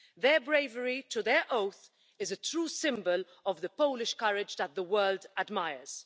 Their bravery to their oath is a true symbol of the Polish courage that the world admires.